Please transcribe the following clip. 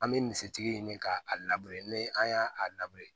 An bɛ misitigi ɲini ka a ni an y'a a